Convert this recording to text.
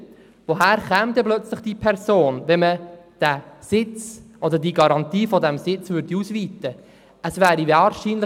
Woher käme diese Person dann plötzlich, wenn man die Garantie dieses Sitzes ausweiten würde?